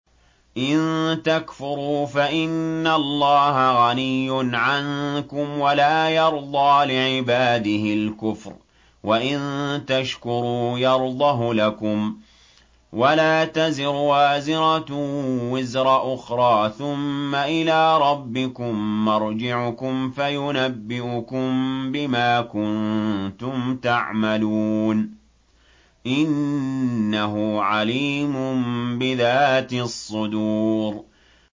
إِن تَكْفُرُوا فَإِنَّ اللَّهَ غَنِيٌّ عَنكُمْ ۖ وَلَا يَرْضَىٰ لِعِبَادِهِ الْكُفْرَ ۖ وَإِن تَشْكُرُوا يَرْضَهُ لَكُمْ ۗ وَلَا تَزِرُ وَازِرَةٌ وِزْرَ أُخْرَىٰ ۗ ثُمَّ إِلَىٰ رَبِّكُم مَّرْجِعُكُمْ فَيُنَبِّئُكُم بِمَا كُنتُمْ تَعْمَلُونَ ۚ إِنَّهُ عَلِيمٌ بِذَاتِ الصُّدُورِ